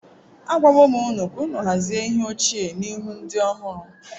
Agwawo m unu ka unu hazie ihe ochie n’ihu ndị ọhụrụ.